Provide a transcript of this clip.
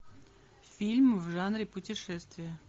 фильм в жанре путешествия